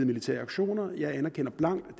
militære aktioner jeg anerkender blankt